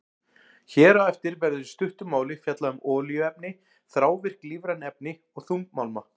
Hér á eftir verður í stuttu máli fjallað um olíuefni, þrávirk lífræn efni og þungmálma.